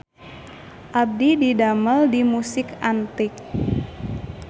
Abdi didamel di Musik Antik